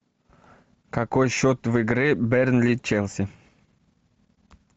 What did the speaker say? какой счет в игре бернли челси